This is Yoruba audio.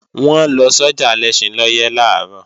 Wọ́n lọ sọ́jà Alẹ́ṣinlọ́yẹ́ làárọ̀